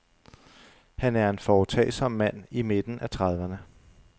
Han er en foretagsom mand i midten af trediverne.